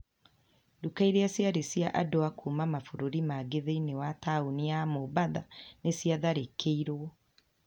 Nduka iria ciarĩ cia andũ a kuuma mabũrũri mangĩ thĩinĩ wa taũni ya Mombatha nĩ ciatharĩkĩirũo.